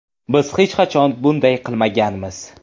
Biz hech qachon bunday qilmaganmiz.